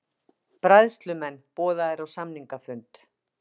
Bræðslumenn boðaðir á samningafund